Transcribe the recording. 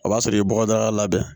O b'a sɔrɔ i ye bɔgɔdaga labɛn